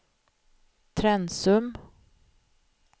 Trensum